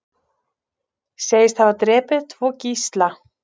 Segist hafa drepið tvo gísla